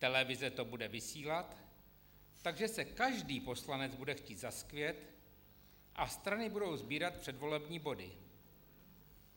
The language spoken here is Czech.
Televize to bude vysílat, takže se každý poslanec bude chtít zaskvět a strany budou sbírat předvolební body.